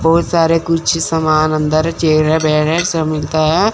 बहुत सारे कुछ सामान अंदर चेयरे वेयरे सब मिलता है।